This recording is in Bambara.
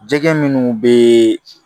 Jɛgɛ minnu bɛ